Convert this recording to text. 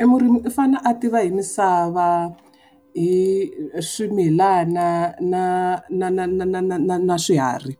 E murimi i fane a tiva hi misava, hi swimilana na na na na na swiharhi.